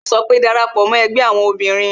Yo sọ pé "Dara pò mo ẹgbẹ́ àwọn obìnrin"